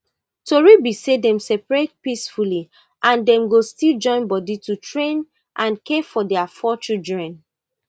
tori be say dem separate peacefully and dem go still joinbodi to train and care for dia four children